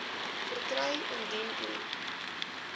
verkry indien u